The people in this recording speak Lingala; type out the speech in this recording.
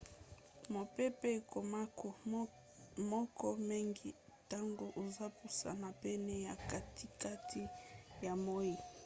mopepe ekomaka moke mingi ntango ozopusana pene ya katikati ya moi